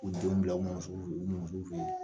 U denw bila u u mɔmisow fɛ yen